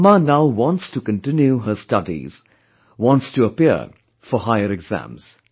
Amma now wants to continue her studies; wants to appear for higher exams